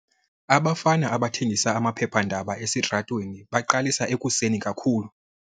Abafana abathengisa amaphephandaba esitratweni baqalisa ekuseni kakhulu.